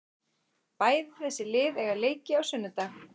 Bæði þessi lið eiga leiki á sunnudag.